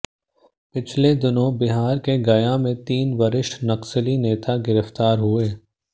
पिछले दिनों बिहार के गया में तीन वरिष्ठ नक्सली नेता गिरफ्तार हुए